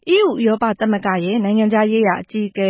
EU ဥရောပသမဂ္ဂရဲ့ နိုင်ငံခြားရေးရာအကြီးအက